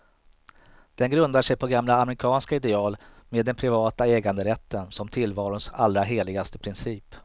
Den grundar sig på gamla amerikanska ideal, med den privata äganderätten som tillvarons allra heligaste princip.